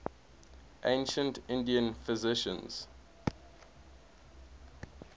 ancient indian physicians